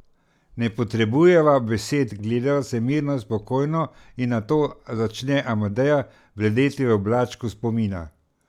Ne potrebujeva besed, gledava se mirno in spokojno in nato začne Amadeja bledeti v oblačku spomina.